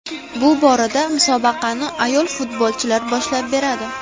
Bu borada musobaqani ayol futbolchilar boshlab beradi.